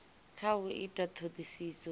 kha u ita ṱhoḓisiso dza